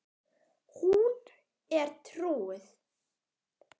Hún er trúuð.